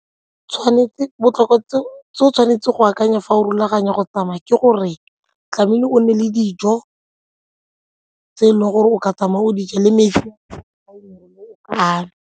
Tshwanetse, botlhokwa tse o tshwanetse go akanya fa o rulaganya go tsamaya ke gore tlamehile o nne le dijo tse e leng gore o ka tsamaya o di ja le metsi a mannye.